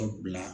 Ka bila